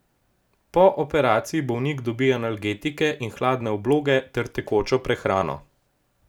Po operaciji bolnik dobi analgetike in hladne obloge ter tekočo prehrano.